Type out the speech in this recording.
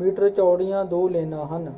Metre ਚੌੜੀਆਂ ਦੋ ਲੇਨਾਂ ਹਨ।